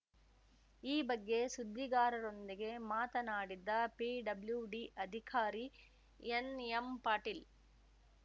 ಈ ಬಗ್ಗೆ ಸುದ್ದಿಗಾರರೊಂದಿಗೆ ಮಾತನಾಡಿದ ಪಿಡಬ್ಲ್ಯೂಡಿ ಅಧಿಕಾರಿ ಎನ್‌ಎಂಪಾಟೀಲ್‌